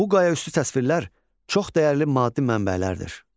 Bu qayaüstü təsvirlər çox dəyərli maddi mənbələrdir.